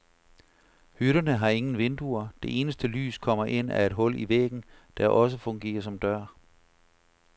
Hytterne har ingen vinduer, det eneste lys kommer ind ad et hul i væggen, der også fungerer som dør.